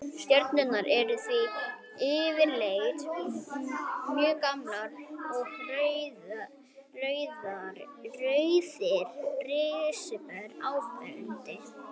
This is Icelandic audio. Stjörnurnar eru því yfirleitt mjög gamlar og rauðir risar áberandi.